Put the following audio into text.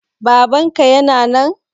Babanka yana nan?